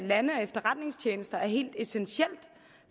lande og efterretningstjenester helt essentielt